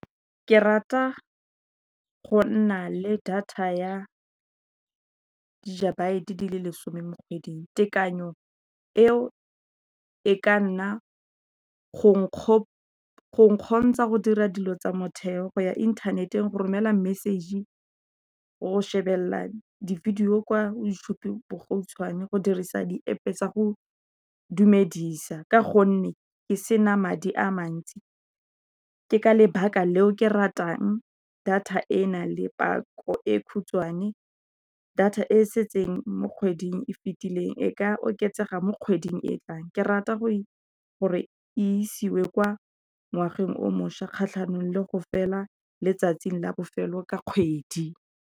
Ke rata go nna le data ya gigabyte di le lesome mo kgweding, tekanyo eo e ka nna go go kgontsha go dira dilo tsa motheo, go ya inthaneteng, go romela message, go shebelela di video kwa YouTube bogautshwane, go dirisa di App tsa go dumedisa ka gonne ke sena madi a mantsi, ke ka lebaka leo ke ratang data e na le pako e khutshwane, data e setseng mo kgweding e fitileng e ka oketsega mo kgweding e e tlang, ke rata gore isiwe kwa ngwageng o mošwa kgatlhanong le go fela letsatsi la bofelo ka kgwedi.